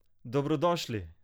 Dobrodošli!